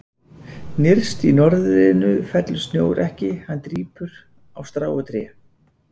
Nyrst í norðrinu fellur snjór ekki, hann drýpur, á strá og tré.